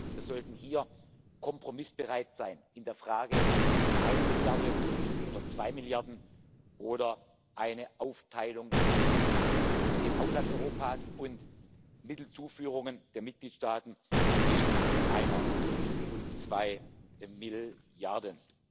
wird. Wir sollten hier kompromissbereit sein in der Frage, eine Milliarde oder zwei Milliarden oder eine Aufteilung zwischen dem Haushalt Europas und Mittelzuführungen der Mitgliedstaaten zwischen einer und zwei Milliarden.